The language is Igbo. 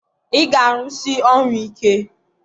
ị ga-arụsi ọrụ ike!